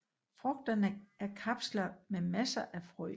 Frugterne er kapsler med masser af frø